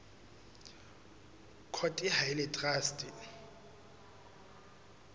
court ha e le traste